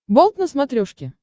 болт на смотрешке